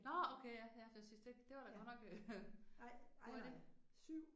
Nåh okay ja ja for jeg synes det det var da godt nok hurtigt